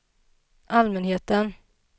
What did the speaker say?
allmänheten